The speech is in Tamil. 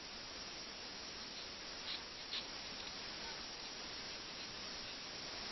okay ma'am இப்போ sometimes வந்து network cut ஆகும் தெரியுமா அந்த time நீங்க என்ன பண்ணுவீங்க?